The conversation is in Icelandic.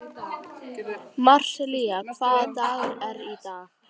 Marsilía, hvaða dagur er í dag?